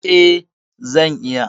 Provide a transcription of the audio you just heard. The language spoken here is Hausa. E, zan iya.